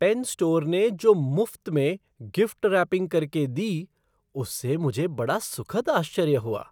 Pen store ने जो मुफ़्त में गिफ़्ट रैपिंग करके दी उससे मुझे बड़ा सुखद आश्चर्य हुआ।